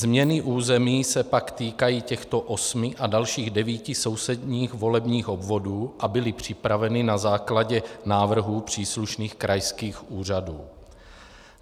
Změny území se pak týkají těchto osmi a dalších devíti sousedních volebních obvodů a byly připraveny na základě návrhů příslušných krajských úřadů.